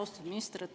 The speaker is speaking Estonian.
Austatud minister!